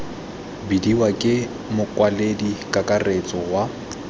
bidiwa ke mokwaledi kakaretso wa